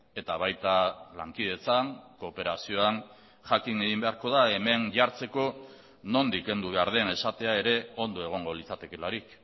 eta baita lankidetzan kooperazioan jakin egin beharko da hemen jartzeko nondik kendu behar den esatea ere ondo egongo litzatekeelarik